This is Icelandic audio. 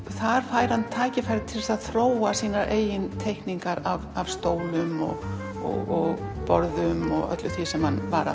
þar færi hann tækifæri til þess að þróa sínar eigin teikningar af stólum og borðum og öllu því sem hann var